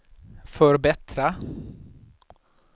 förbättra